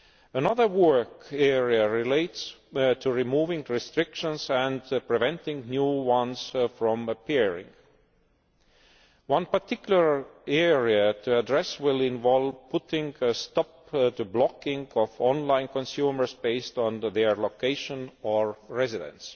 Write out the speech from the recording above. Another work area relates to removing restrictions and preventing new ones from appearing. One particular area to address will involve putting a stop to the blocking of online consumers based on their location or residence.